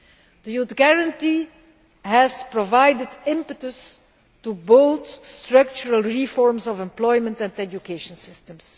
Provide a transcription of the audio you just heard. The Youth Guarantee has provided impetus to both structural reforms of employment and education systems.